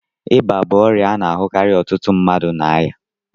Ịba bụ ọrịa a na-ahụkarị ọtụtụ mmadụ na aya.